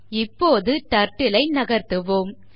இப்போது Turtle ஐ நகர்த்துவோம்